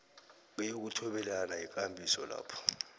kokuthobelana yikambiso lapho